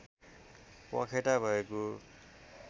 पखेटा भएको